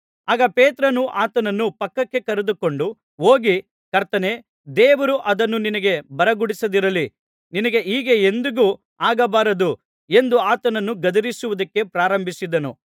ಆಗ ಪೇತ್ರನು ಆತನನ್ನು ಪಕ್ಕಕ್ಕೆ ಕರೆದುಕೊಂಡು ಹೋಗಿ ಕರ್ತನೇ ದೇವರು ಅದನ್ನು ನಿನಗೆ ಬರಗೊಡಿಸದಿರಲಿ ನಿನಗೆ ಹೀಗೆ ಎಂದಿಗೂ ಆಗಬಾರದು ಎಂದು ಆತನನ್ನು ಗದರಿಸುವುದಕ್ಕೆ ಪ್ರಾರಂಭಿಸಿದನು